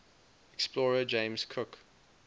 explorer james cook